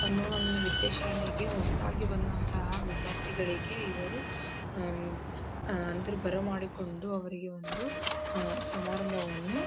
ತಮ್ಮ ಒಂದು ವಿದ್ಯೆ ಶಾಲೆಗೆ ಹೊಸದಾಗಿ ಬಂದ್ ಅಂತಹ ವಿದ್ಯಾರ್ಥಿಗಳಿಗೆ ಇವರು ಅಂದ್ರ ಬರ ಮಾಡಿಕೊಂಡು ಅವರಿಗೆ ಒಂದು ಸಮಾರಂಭವನ್ನು --